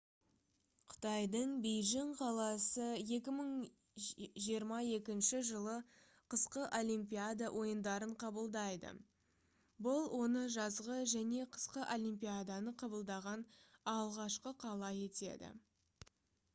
қытайдың бейжің қаласы 2022 жылы қысқы олимпиада ойындарын қабылдайды бұл оны жазғы және қысқы олимпиаданы қабылдаған алғашқы қала етеді